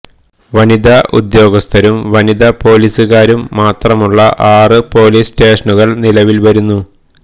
വനിത ഉദ്യോഗസ്ഥരും വനിത പോലീസുകാരും മാത്രമുള്ള ആറു പോലീസ് സ്റ്റേഷനുകള് നിലവില്വരുന്നു